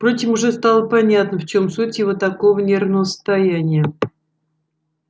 впрочем уже стало понятно в чем суть его такого нервного состояния